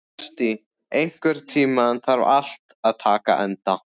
Berti, einhvern tímann þarf allt að taka enda.